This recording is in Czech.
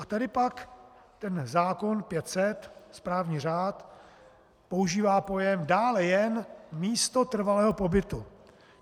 A tady pak ten zákon 500, správní řád, používá pojem - dále jen místo trvalého pobytu.